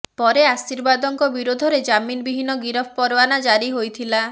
ପରେ ଆଶୀର୍ବାଦଙ୍କ ବିରୋଧରେ ଜାମିନ ବିହୀନ ଗିରଫ ପରୱାନା ଜାରି ହୋଇଥିଲା